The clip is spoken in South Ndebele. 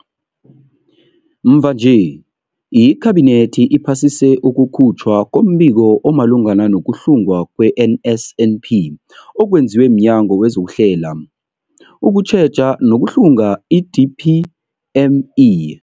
Mvanje, iKhabinethi iphasise ukukhutjhwa kombiko omalungana nokuhlungwa kwe-NSNP okwenziwe mNyango wezokuHlela, ukuTjheja nokuHlunga, i-DPME.